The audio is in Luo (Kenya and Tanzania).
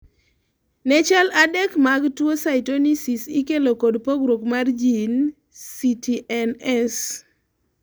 ne chal adek mag tuo cystonisis ikelo kod pogruok mar jin CTNS